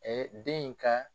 Ɛɛ den in kan